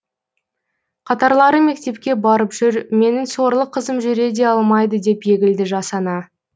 қатарлары мектепке барып жүр менің сорлы қызым жүре де алмайды деп егілді жас ана